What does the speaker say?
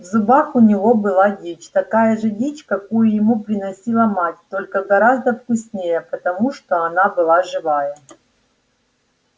в зубах у него была дичь такая же дичь какую ему приносила мать только гораздо вкуснее потому что она была живая